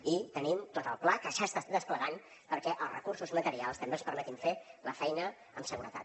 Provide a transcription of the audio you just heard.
i tenim tot el pla que ja s’està desplegant perquè els recursos materials també els permetin fer la feina amb seguretat